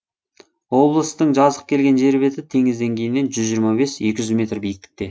облыстың жазық келген жер беті теңіз деңгейінен жүз жиырма бес екі жүз метр биіктікте